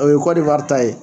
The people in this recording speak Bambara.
O ye Kɔdivare ta ye.